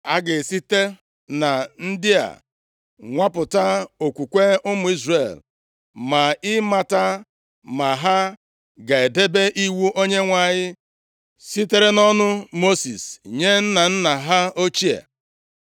A ga-esite na ndị a nwapụta okwukwe ụmụ Izrel ma ịmata ma ha ga-edebe iwu Onyenwe anyị sitere nʼọnụ Mosis nye nna nna ha ochie.